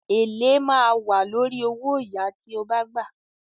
“Èlé” ma a wà lórí owóyàá tí o gbà.